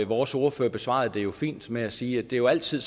vores ordfører besvarede det jo fint ved at sige at det jo altid